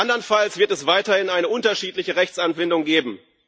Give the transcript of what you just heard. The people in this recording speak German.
Andernfalls wird es weiterhin eine unterschiedliche Rechtsanwendung geben.